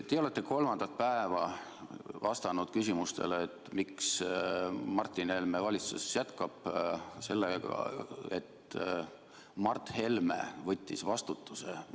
Te olete kolmandat päeva vastanud küsimustele, miks Martin Helme valitsuses jätkab, sellega, et Mart Helme võttis vastutuse.